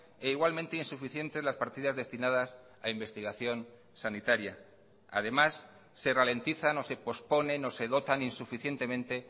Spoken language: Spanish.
e igualmente insuficientes las partidas destinadas a investigación sanitaria además se ralentizan o se posponen o se dotan insuficientemente